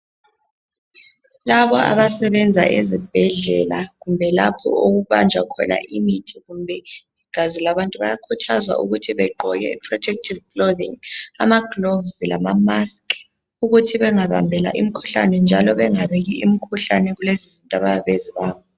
Labo abasebenza ezibhedlela kumbe lapho okubanjwa khona imithi kumbe igazi labantu bayakhuthazwa ukuthi begqoke I protective clothing. Ama gloves lama mask ukuthi bengabambela imikhuhlane njalo bengabeki imikhuhlane kulezizinto abayabe bezibamba.